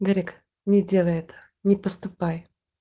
гаррик не делай это не поступай